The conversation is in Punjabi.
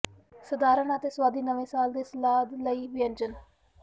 ਸਧਾਰਨ ਅਤੇ ਸੁਆਦੀ ਨਵੇਂ ਸਾਲ ਦੇ ਸਲਾਦ ਲਈ ਵਿਅੰਜਨ